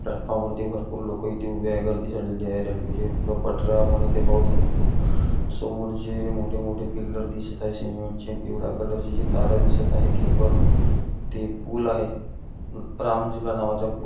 platform वरती भारपूर लोक इथे उभी आहेत गर्दी झालेली आहे रेल्वेच्या सुद्धा पाट्र्या आपण इथे पाहू शकतो समोर जे मोठे मोठे पिल्लर दिसत आहेत सिमेंट चे पिवळ्या कलर च्या जे तारा दिसत आहे केबल ते पूल आहे राम नावाचा पूल--